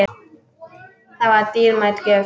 Það var dýrmæt gjöf.